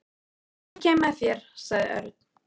Ég kem með þér sagði Örn.